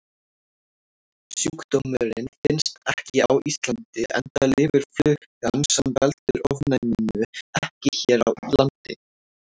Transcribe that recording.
Sjúkdómurinn finnst ekki á Íslandi enda lifir flugan sem veldur ofnæminu ekki hér á landi.